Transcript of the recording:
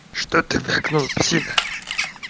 что ты так ну псина